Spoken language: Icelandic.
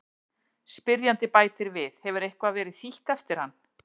Spyrjandi bætir við: Hefur eitthvað verið þýtt eftir hann?